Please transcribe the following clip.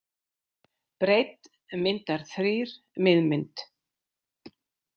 Breidd myndar þrír miðmynd